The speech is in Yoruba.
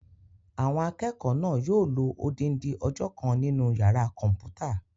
Àwọn akẹ́kọ̀ọ́ náà yóò lo odindi ọjọ́ kan nínu yàrá-kọ̀mpúta